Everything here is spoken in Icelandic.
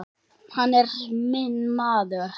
Hann er minn maður.